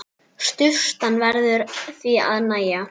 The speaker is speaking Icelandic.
Sturtan verður því að nægja.